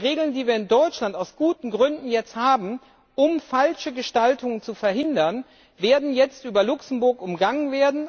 Die Regeln, die wir in Deutschland aus guten Gründen jetzt haben, um falsche Gestaltungen zu verhindern, werden jetzt über Luxemburg umgangen.